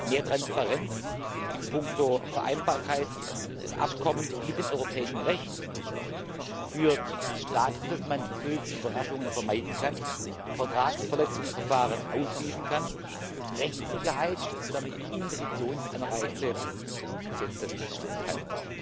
Mehr Transparenz in puncto Vereinbarkeit des Abkommens mit dem europäischen Recht führt dazu, dass man böse Überraschungen vermeiden kann, Vertragsverletzungsverfahren ausschließen kann, Rechtssicherheit schaffen und damit Investitionsanreize setzen kann.